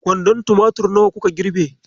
Kwandon tumatur nawa kuka girbe?